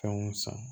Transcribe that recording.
Fɛnw san